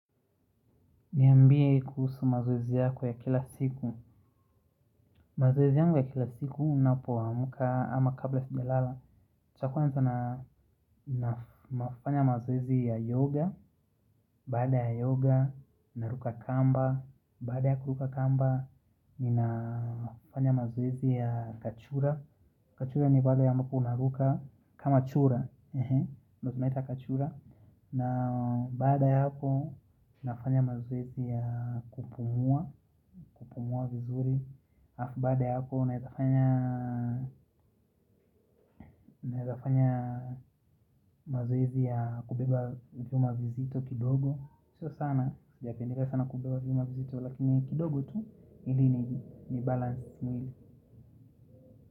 Niambie kuhusu mazoezi yako ya kila siku. Mazoezi yangu ya kila siku ninapoamka ama kabla sijalala. Chakula nita nafanya mazoezi ya yoga. Baada ya yoga, naruka kamba. Baada ya kuruka kamba, ninafanya mazoezi ya kachura. Kachura ni pale ambapo unaruka kama chura. Ndio tunaita kachura. Na baada ya hapo nafanya mazoezi ya kupumua. Kupumua vizuri. Alafu baada ya hapo unaeza fanya nafanya mazoezi ya kubeba vyuma vizito kidogo. Sio sana, sijapendeza sana kubeba vyuma vizito. Lakini kidogo tu ili ni balance mwili.